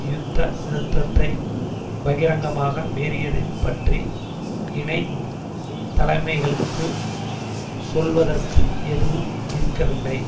யுத்த நிறுத்தத்தை பகிரங்கமாக மீறியதைப் பற்றி இணை தலைமைகளுக்கு சொல்வதற்கு எதுவும் இருக்கவில்லை